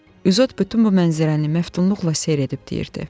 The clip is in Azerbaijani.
İzot bütün bu mənzərəni məftunluqla seyr edib deyirdi.